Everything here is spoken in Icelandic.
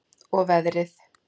Og veðrið.